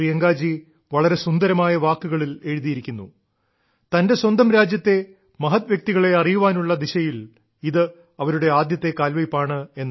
പ്രിയങ്കാജി വളരെ സുന്ദരമായ വാക്കുകളിൽ എഴുതിയിരിക്കുന്നു തന്റെ സ്വന്തം രാജ്യത്തെ മഹത് വ്യക്തികളെ അറിയാനുള്ള ദിശയിൽ ഇത് അവരുടെ ആദ്യത്തെ കാൽവെയ്പ്പാണെന്ന്